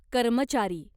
कर्मचारी